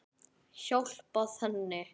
Hjálpað henni.